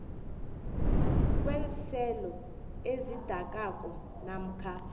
kweenselo ezidakako namkha